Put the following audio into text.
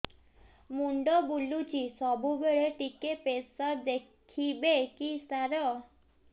ମୁଣ୍ଡ ବୁଲୁଚି ସବୁବେଳେ ଟିକେ ପ୍ରେସର ଦେଖିବେ କି ସାର